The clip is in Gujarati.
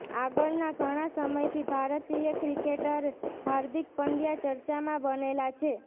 આગળના ઘણા સમયથી ભારતીય ક્રિકેટર હાર્દિક પંડ્યા ચર્ચામાં બનેલા છે